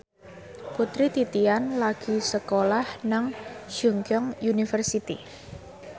Putri Titian lagi sekolah nang Chungceong University